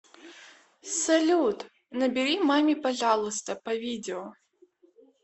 салют набери маме пожалуйста по видео